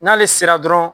N'ale sera dɔrɔn